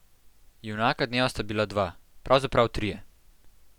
Junaka dneva sta bila dva, pravzaprav trije.